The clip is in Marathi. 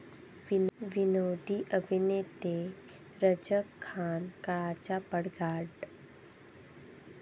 विनोदी अभिनेते रझाक खान काळाच्या पडद्याआड